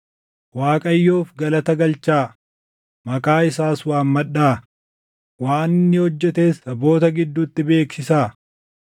Waaqayyoof galata galchaa; maqaa isaas waammadhaa; waan inni hojjetes saboota gidduutti beeksisaa.